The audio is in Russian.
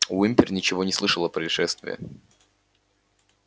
уимпер ничего не слышал о происшествии